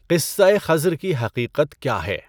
قصۂ خضر کی حقیقت کیا ہے؟